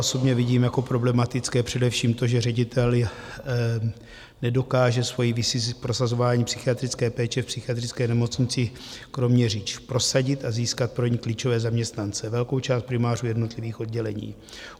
Osobně vidím jako problematické především to, že ředitel nedokáže svoji vizi v prosazování psychiatrické péče v Psychiatrické nemocnici Kroměříž prosadit a získat pro ni klíčové zaměstnance, velkou část primářů jednotlivých oddělení.